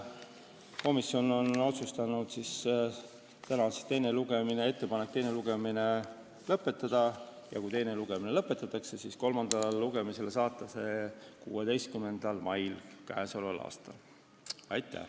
Komisjon on otsustanud teha ettepaneku täna teine lugemine lõpetada ja kui teine lugemine lõpetatakse, siis kolmandale lugemisele saata eelnõu 16. maiks k.a. Aitäh!